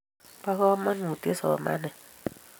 bo kamanuut somanet